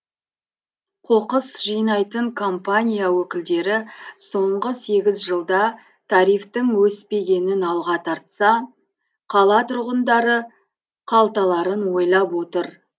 қоқыс жинайтын компания өкілдері соңғы сегіз жылда тарифтің өспегенін алға тартса қала тұрғындары қалталарын ойлап отыр